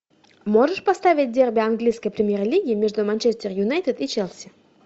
можешь поставить дерби английской премьер лиги между манчестер юнайтед и челси